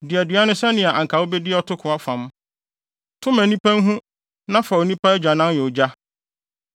Di aduan no sɛnea anka wubedi atoko ɔfam; to ma nnipa nhu na fa onipa agyanan yɛ ogya.”